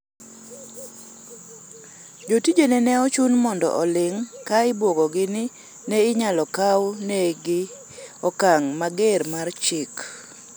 jotijene ne ochun mondo oling' ka ibuogogi ni ne inyalo kaw negi okang' mager mar chik